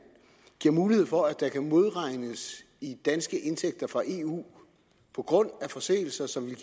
giver mulighed for at der kan modregnes i danske indtægter fra eu på grund af forseelser som ville